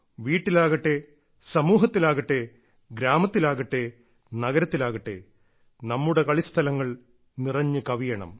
വീട്ടിലാകട്ടെ സമൂഹത്തിലാകട്ടെ ഗ്രാമത്തിലാകട്ടെ നഗരത്തിലാകട്ടെ നമ്മുടെ കളിസ്ഥലങ്ങൾ നിറഞ്ഞു കവിയണം